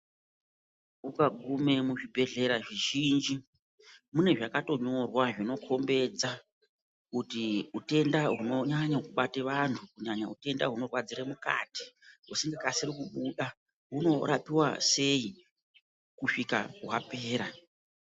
Ukagume muzvibhedhlera zvizhinji munezvakatonyorwa zvinokombedza kuti utenda hunonyanye kubate vantu kunyanya utenda hunorwadzire mukati husingakasiri kubuda hunorapiwa sei kuzvika hwapera.